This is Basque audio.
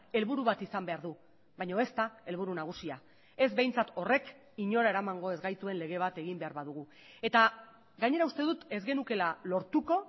helburu bat izan behar du baina ez da helburu nagusia ez behintzat horrek inora eramango ez gaituen lege bat egin behar badugu eta gainera uste dut ez genukeela lortuko